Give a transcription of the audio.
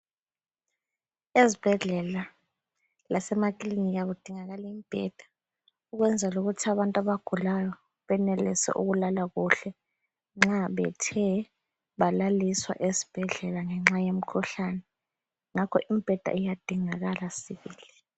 Ezibhedlela lasema klinika kudingakala imbheda ukwenzela ukuthi abantu abagulayo benelise ukulala kuhle nxa bethe balaliswa esbhedlela ngenxa yemkhuhlane. Ngakho imbheda iyadingakala sibili.